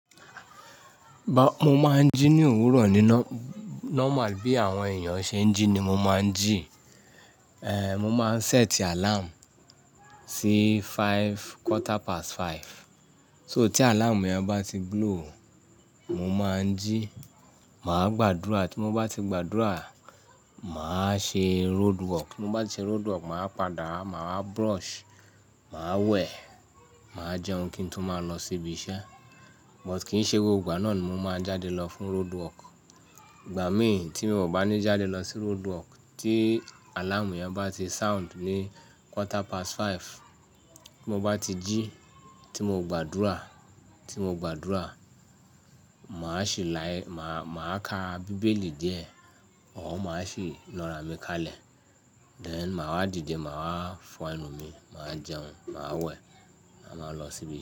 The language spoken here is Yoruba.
Mo máa ń jí ní òwúrọ̀ ní nọ-normal bí àwọn èèyàn ṣe ń jí ni mo máa ń jí. Ehn, mo máa ń sẹ́ẹ̀tì àláàmù sí five, quarter past five. So tí àláàmù yẹn bá ti blow, mo máa ń jí, màá gbàdúrà. Tí mo bá ti gbàdúrà, màá ṣe roadwork. Tí mo bá ti ṣe roadwork, màá padà, màá brush, màá wẹ̀, màá jẹun kí n tó máa lọ sí ibi iṣẹ́. But kì í ṣe gbogbo ìgbà náà ni mo máa n jáde lọ fún roadwork. Ìgbà mí tí mi o bá ní jáde lọ sí roadwork, tí àláàmù yẹn bá ti sound ní quarter past five, tí mo bá ti jí, tí mo gbàdúrà, tí mo gbàdúrà, màá ṣẹ́ láyè, màá, màá ka bíbélì díẹ̀, ọ̀un máa sì nara mi kalẹ̀. Then màá dìde, màá fọ ẹnu mi, màá jẹun, màá wẹ̀, à máa lọ sí ibi iṣẹ́